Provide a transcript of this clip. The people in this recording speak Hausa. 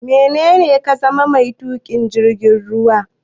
Menene dan ka zama mai tuƙin jirgin ruwa?